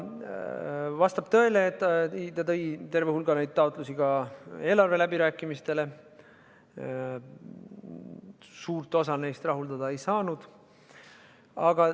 Vastab tõele, et ta tõi terve hulga taotlusi eelarve läbirääkimistele ja suurt osa neist me rahuldada ei saanud.